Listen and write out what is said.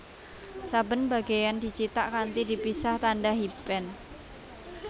Saben bagéyan dicithak kanthi dipisah tandha hyphen